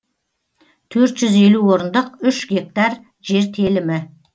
төрт жүз елу орындық үш гектар жер телімі